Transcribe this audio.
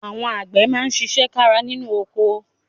Àwọn àgbẹ̀ máa ṣiṣẹ́ kára nínú oko